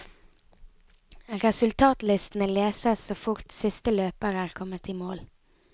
Resultatlistene leses så fort siste løper er kommet i mål.